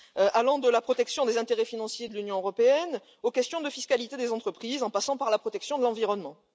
allant de la protection des intérêts financiers de l'Union européenne, aux questions de fiscalité des entreprises, en passant par la protection de l'environnement.